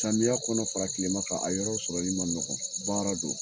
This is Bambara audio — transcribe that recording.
Samiya kɔnɔ fara kilema kan a yɔrɔ sɔrɔ li ma nɔgɔ baara don